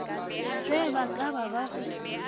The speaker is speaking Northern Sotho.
se ba ka ba go